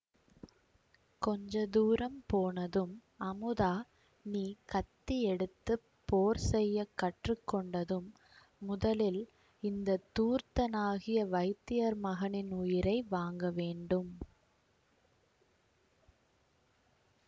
கொஞ்ச தூரம் போனதும் அமுதா நீ கத்தி எடுத்து போர் செய்ய கற்று கொண்டதும் முதலில் இந்த தூர்த்தனாகிய வைத்தியர் மகனின் உயிரை வாங்க வேண்டும்